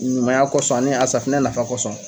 Ɲumanya kosɔn ani a safunɛ nafa kosɔn